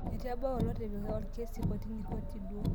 Eitu ebau olotipika olkesi kotini koti duo